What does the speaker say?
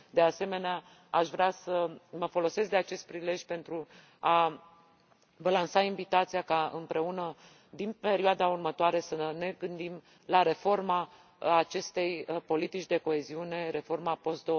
De asemenea, aș vrea să mă folosesc de acest prilej pentru a vă lansa invitația ca, împreună, din perioada următoare, să ne gândim la reforma acestei politici de coeziune, reforma post